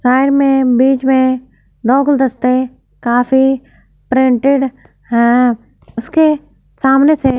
side में बीच में नौ गुलदस्ते काफी प्रिंटेड हैं उसके सामने से --